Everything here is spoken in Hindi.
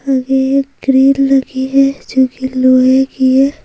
आगे एक ग्रिल लगी है जो की लोहे की है।